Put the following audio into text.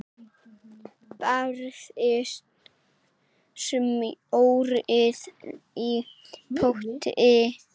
Bræðið smjörið í potti.